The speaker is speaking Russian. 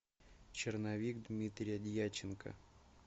черновик дмитрия дьяченко